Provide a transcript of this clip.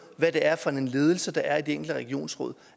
hvad det er for en ledelse der er i de enkelte regionsråd